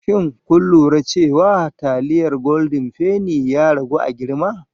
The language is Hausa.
Shin kun lura cewa taliyar goldin feni ya ragu a girma?